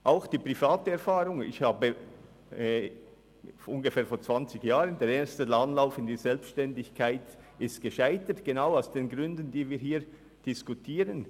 Zu meiner Erfahrung: Der erste Anlauf in die Selbstständigkeit vor ungefähr zwanzig Jahren scheiterte genau aus den Gründen, die wir hier diskutieren.